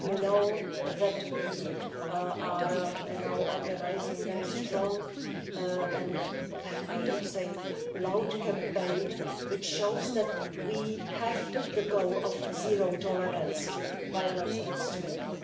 You know that we are now organising a very strong and I would say loud campaign which shows that we have the goal of zero tolerance to violence against women.